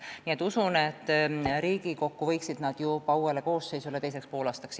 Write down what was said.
Nii et usun, et Riigikokku uuele koosseisule arutada jõuavad need teiseks poolaastaks.